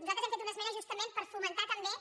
nosaltres hem fet una esmena justament per fomentar també